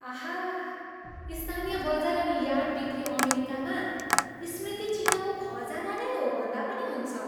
आहा! स्थानीय बजार अनि यार्ड बिक्री अमेरिकामा स्मृति चिह्नको खजाना नै हो भन्दा पनि हुन्छ।